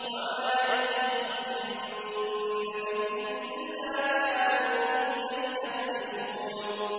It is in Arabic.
وَمَا يَأْتِيهِم مِّن نَّبِيٍّ إِلَّا كَانُوا بِهِ يَسْتَهْزِئُونَ